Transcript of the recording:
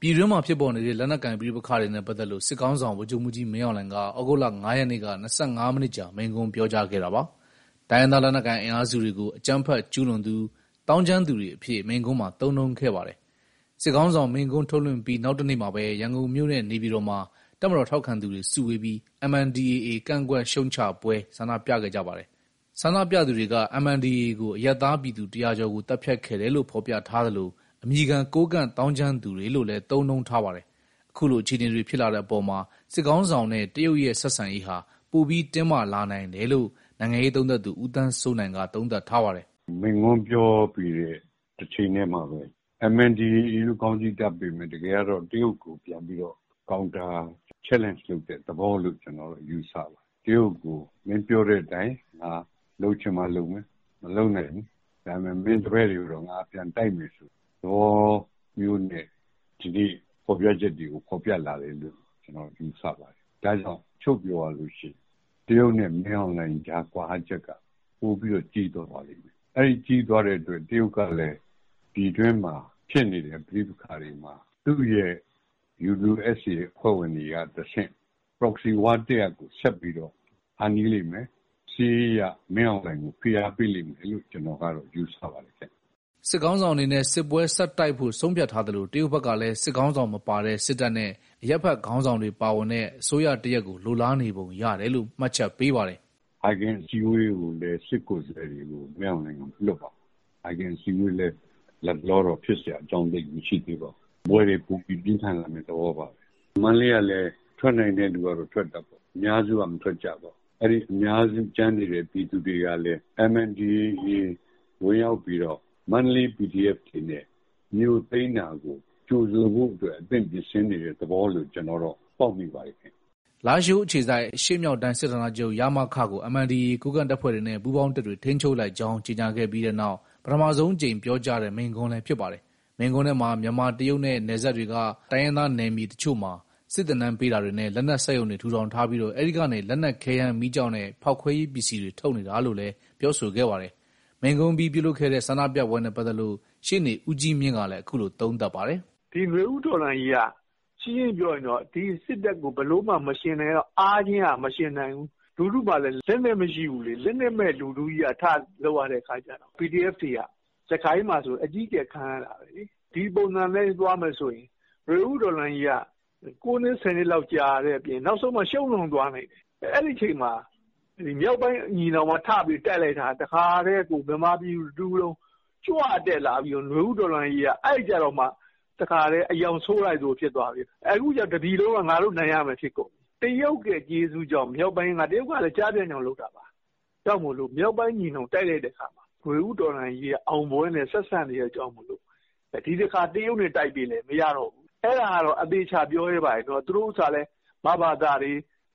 ပြည်တွင်းမှာဖြစ်ပေါ်နေတဲ့ လက်နက်ကိုင်ပဋိပက္ခတွေနဲ့ ပတ်သက်လို့ စစ်ခေါင်းဆောင် ဗိုလ်ချုပ်မှူးကြီး မင်အောင်လှိုင်က ဩဂုတ်လ ၅ ရက်နေ့က ၂၅ မိနစ်ကြာ မိန့်ခွန်းပြောကြားခဲ့တာပါ။ တိုင်းရင်းသားလက်နက်ကိုင် အင်အားစုတွေကို အကြမ်းဖက်ကျူးလွန်သူ၊ သောင်းကျန်းသူတွေအဖြစ် မိန့်ခွန်းမှာ သုံးနှုန်းခဲ့ပါတယ်။ စစ်ခေါင်းဆောင်မိန့်ခွန်း ထုတ်လွှင့်ပြီး နောက်တနေ့မှာပဲ ရန်ကုန်မြို့နဲ့ နေပြည်တော်မှာ တပ်မတော်ထောက်ခံသူတွေ စုဝေးပြီး MNDAA ကန့်ကွက်ရှုတ်ချပွဲ ဆန္ဒပြခဲ့ကြပါတယ်။ ဆန္ဒပြသူတွေက MNDAA ကို အရပ်သားပြည်သူ ၁၀၀ ကျော်ကို သတ်ဖြတ်ခဲ့တယ်လို့ ဖော်ပြထားသလို၊ အမည်ခံ ကိုးကန့်သောင်းကျန်းသူတွေလို့လည်း သုံးနှုန်းထားပါတယ်။ အခုလို အခြေအနေတွေ ဖြစ်လာတဲ့အပေါ်မှာ စစ်ခေါင်းဆောင်နဲ့ တရုတ်ရဲ့ ဆက်ဆံရေးဟာ ပိုပြီးတင်းမာလာနိုင်တယ်လို့ နိုင်ငံရေးလေ့လာသူ ဦးသန်းစိုးနိုင်က သုံးသပ်ထားပါတယ်။ "မိန့်ခွန်းပြောပြီးတဲ့ တချိန်ထဲမှာပဲ MNDAA လို့ ခေါင်းစီးတပ်ပေမယ့် တကယ်ကတော့ တရုတ်ကိုပြန်ပြီးတော့ Counterchallenge လုပ်တဲ့သဘောလို့ ကျနော်တော့ ယူဆတယ်။ တရုတ်ကို မင်းပြောတဲ့အတိုင်း ငါလုပ်ချင်မှလုပ်မယ်၊ မလုပ်နိုင်ဘူး။ ဒါပေမဲ့ မင်းတပည့်တွေကိုတော့ ငါပြန်တိုက်မယ်ဆိုတဲ့ သဘောမျိုးနဲ့ ဒီနေ့ဖော်ပြချက်တွေကို ဖော်ပြလာတယ်လို့ ယူဆပါတယ်။ ဒါကြောင့် ချုံ့ပြောရလို့ရှိရင် တရုတ်နဲ့ မင်းအောင်လှိုင်ကြား ကွာဟချက်က ပိုပြီးတော့ ကြီးသွားပါလိမ့်မယ်။ အဲဒီကြီးသွားတဲ့အတွက် တရုတ်ကလည်း ပြည်တွင်းမှာဖြစ်နေတဲ့ ပဋိပက္ခတွေမှာ သူ့ရဲ့ UWSA အဖွဲ့ဝင်တွေကတဆင့် Proxy war တရပ်ကို ဆက်ပြီးတော့ ဖန်တီးလိမ့်မယ်။ စစ်ရေးအရ မင်းအောင်လှိုင်ကို ဖိအားပေးလိမ့်မယ်လို့ ကျနော်ကတော့ ယူဆပါတယ်။" စစ်ခေါင်းဆောင်အနေနဲ့ စစ်ပွဲဆက်တိုက်ဖို့ ဆုံးဖြတ်ထားသလို၊ တရုတ်ဘက်ကလည်း စစ်ခေါင်းဆောင်မပါတဲ့ စစ်တပ်နဲ့ အရပ်ဘက်ခေါင်းဆောင်တွေ ပါဝင်တဲ့ အစိုးရတရပ်ကို လိုလားနေပုံရတယ်လို့ မှတ်ချက်ပေးပါတယ်။ "ဟိုက်ဂင်အစည်းအဝေးကိုလည်း စစ်ကိုယ်စားလှယ်တွေကို မင်းအောင်လှိုင်က မလွှတ်ပါဘူး။ ဟိုက်ဂင်အစည်းအဝေးလည်း လတ်တလောတော့ ဖြစ်စရာအကြောင်း သိပ်မရှိသေးပါဘူး။ စစ်ပွဲတွေပိုပြီး ပြင်းထန်လာမယ့် သဘောပါပဲ။ မန္တလေးကလည်း ထွက်နိုင်တဲ့သူကတော့ ထွက်တာပေါ့။ အများစုက မထွက်ကြပါဘူး။ အဲဒီအများစု ကျန်နေတဲ့ ပြည်သူတွေကလည်း MNDAA ဝင်ရောက်ပြီးတော့ မန္တလေး PDF တွေနဲ့ မြို့သိမ်းတာကို ကြိုဆိုဖို့အတွက် အသင့်ပြင်ဆင်နေတဲ့ သဘောလို့ ပေါက်မိပါတယ်။" လားရှိုးအခြေစိုက် အရှေ့မြောက်တိုင်း စစ်ဌာနချုပ် (ရမခ) ကို MNDAA ကိုးကန့်တပ်ဖွဲ့တွေနဲ့ ပူးပေါင်းတပ်တွေ ထိန်းချုပ်လိုက်ကြောင်း ကြေညာခဲ့ပြီးနောက် ပထမဆုံးအကြိမ် ပြောကြားတဲ့ မိန့်ခွန်းလည်း ဖြစ်ပါတယ်။ မိန့်ခွန်းထဲမှာ မြန်မာ - တရုတ်နဲ့ နယ်စပ်တွေက တိုင်းရင်းသားနယ်မြေ အချို့မှာ စစ်သင်တန်းပေးတာတွေနဲ့ လက်နက် စက်ရုံတွေထူထောင်ထားပြီး အဲဒီကနေ လက်နက်ခဲယမ်းမီးကျောက်နဲ့ ဖောက်ခွဲရေး ပစ္စည်းတွေ ထုတ်နေတာလို့လည်း ပြောဆိုခဲ့ပါတယ်။ မိန့်ခွန့်အပြီး ပြုလုပ်ခဲ့တဲ့ ဆန္ဒပြပွဲနဲ့ပတ်သက်လို့ ရှေ့နေဦးကြီးမြင့်ကလည်း အခုလို သုံးသပ်ထားပါတယ်။ "ဒီနွေဦးတော်လှန်ရေးက ရှင်းရှင်းပြောရရင် ဒီစစ်တပ်ကို အားချင်းကမယှဉ်နိုင်ဘူး။ လူထုမှာလည်း လက်နက်မရှိဘူးလေ။ လက်နက်မဲ့လူထုကြီးက ထလုပ်ရတဲ့အခါကျတော့ PDF တွေက စစ်ကိုင်းမှာဆို အကြီးအကျယ် ခံရတာပဲလေ။ ဒီပုံစံအတိုင်းသွားမယ်ဆိုရင် နွေဦးတော်လှန်ရေးက ၉နှစ်၊ ၁၀နှစ်လောက် ကြာတဲ့အပြင် နောက်ဆုံးမှာ ရှုံးတောင်သွားနိုင်တယ်။ အဲဒီအချိန်မှာ မြောက်ပိုင်းညီနောင်က ထပြီးတိုက်လိုက်တာ လူထုကကြွတက်လာပြီးတော့ နွေဦးတော်လှန်ရေးက အဲကျတော့မှ တခါထဲ အရောင်ဆိုးလိုက်သလို ဖြစ်သွားပြီးတော့ အခုကျ တပြည်လုံးက ငါတို့နိုင်ရမယ် ဖြစ်ကုန်တယ်။ တရုတ်ရဲ့ကျေးဇူးကြောင့် တရုတ်ကလည်း ကျားဖြန့်ကြောင့်လုပ်တာပါ။ မြောက်ပိုင်းညီနောင်က တိုက်လိုက်တဲ့အခါမှာ နွေဦးတော်လှန်ရေးက အောင်ပွဲနဲ့ဆက်စပ်နေတာကြောင့် ဒီတခါ တရုတ်နဲ့တိုက်ပေးလည်း မရတော့ဘူး။ အဲဒါကတော့ အသေအချာ ပြောရဲပါတယ်။ သူတို့ဥစ္စာကလည်း မဘသတွေ